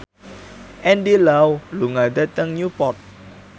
Andy Lau lunga dhateng Newport